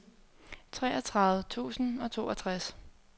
treogtredive tusind og toogtres